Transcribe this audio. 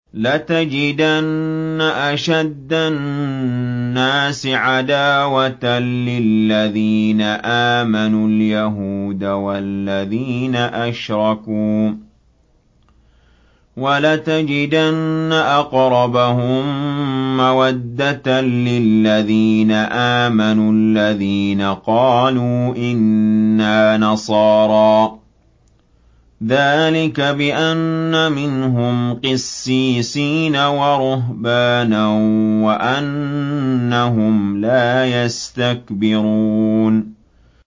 ۞ لَتَجِدَنَّ أَشَدَّ النَّاسِ عَدَاوَةً لِّلَّذِينَ آمَنُوا الْيَهُودَ وَالَّذِينَ أَشْرَكُوا ۖ وَلَتَجِدَنَّ أَقْرَبَهُم مَّوَدَّةً لِّلَّذِينَ آمَنُوا الَّذِينَ قَالُوا إِنَّا نَصَارَىٰ ۚ ذَٰلِكَ بِأَنَّ مِنْهُمْ قِسِّيسِينَ وَرُهْبَانًا وَأَنَّهُمْ لَا يَسْتَكْبِرُونَ